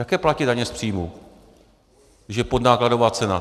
Jaké platí daně z příjmů, když je podnákladová cena?